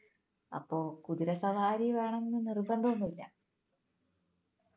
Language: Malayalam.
അപ്പൊ കുതിര സവാരി വേണമെന്ന് നിർബന്ധമൊന്നുമില്ല